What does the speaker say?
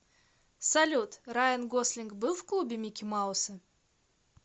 салют райан гослинг был в клубе микки мауса